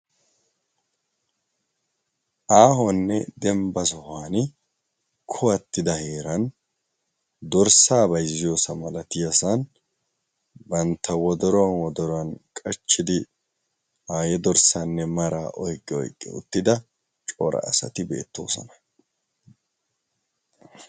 aahuwanne dembba sohuwan kuwattida heeran dorssaa baizziyoosa malatiyasan bantta wodoruwan wodorwan qachchidi aayye dorssaanne mara oyqqi oyqqi uttida cora asati beettoosana